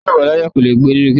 Ẹni tí kò bá láyà kò le gbé ní gétò